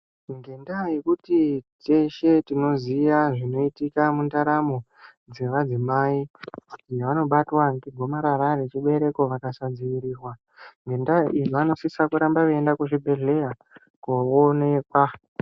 Ngendaa yekuti teshe tinoziya zvinoitika mundaramo dzemadzimai vanobatwa ngegomarara rechibereko vakasadziirirwa ngedaa vanosisa kuramba veinda kuzvibhedleya koonekwa.